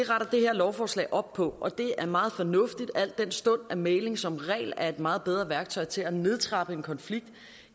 lovforslag op på og det er meget fornuftigt al den stund mægling som regel er et meget bedre værktøj til at nedtrappe en konflikt